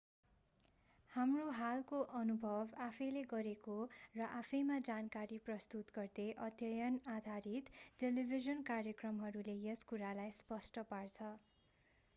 हाम्रो हालको अनुभव आफैंले गरेको र आफैंमा जानकारी प्रस्तुत गर्दै अध्ययन-आधारित टेलिभिजन कार्यक्रमहरूले यस कुरालाई स्पष्ट पार्छ